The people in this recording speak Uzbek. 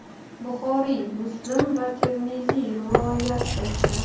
Buxoriy, Muslim va Termiziy rivoyat qilishgan.